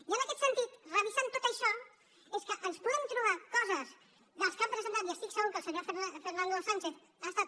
i en aquest sentit revisant tot això és que ens podem trobar coses que han presentat i estic segur que el senyor fernando sánchez ha estat